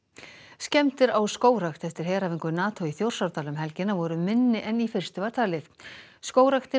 skemmdir á skógrækt eftir heræfingu NATO í Þjórsárdal um helgina voru minni en í fyrstu var talið skógræktin